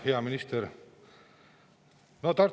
Hea minister!